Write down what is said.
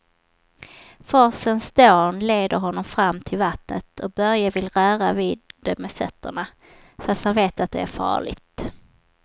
Forsens dån leder honom fram till vattnet och Börje vill röra vid det med fötterna, fast han vet att det är farligt.